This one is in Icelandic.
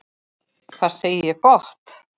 Hvað segi ég gott?